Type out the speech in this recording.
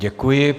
Děkuji.